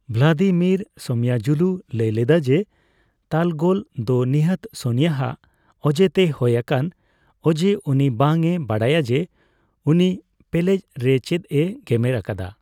Vladimir ᱥᱳᱢᱟᱭᱟᱡᱩᱞᱩ ᱞᱟᱹᱭ ᱞᱮᱫᱟ ᱡᱮ ᱛᱟᱞᱜᱳᱞ ᱫᱚ ᱱᱤᱦᱟᱹᱛ ᱥᱳᱱᱤᱭᱟᱜ ᱚᱡᱮᱛᱮ ᱦᱳᱭ ᱟᱠᱟᱱᱟ ᱚᱡᱮ ᱩᱱᱤ ᱵᱟᱝᱼᱮ ᱵᱟᱰᱟᱭᱟ ᱡᱮ, ᱩᱱᱤ ᱯᱮᱞᱮᱡ ᱨᱮ ᱪᱮᱫᱼᱮ ᱜᱮᱢᱮᱨ ᱟᱠᱟᱫᱟ ᱾